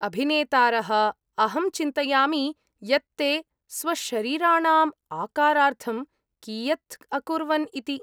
अभिनेतारः, अहं चिन्तयामि यत् ते स्वशरीराणाम्‌ आकारार्थं कियत् अकुर्वन्‌ इति।